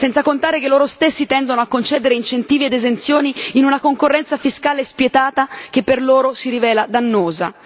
Senza contare che loro stessi tendono a concedere incentivi ed esenzioni in una concorrenza fiscale spietata che per loro si rivela dannosa.